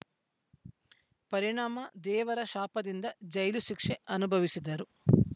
ಪರಿಣಾಮ ದೇವರ ಶಾಪದಿಂದ ಜೈಲು ಶಿಕ್ಷೆ ಅನುಭವಿಸಿದರು